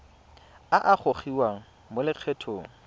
a a gogiwang mo lokgethong